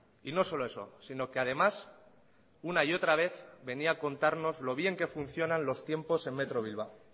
y no solo eso si no que además una y otra vez venía a contarnos lo bien que funcionan los tiempos en metro bilbao